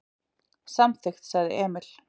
Samþykkt, sagði Emil.